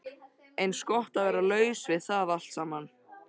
Eins gott að vera laus við það allt saman.